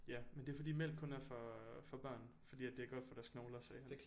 Ja men det er fordi mælk kun er for for børn fordi det er godt for deres knogler sagde han